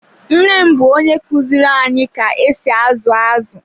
Nne m bụ onye kuziru anyị ka esi azu azụ.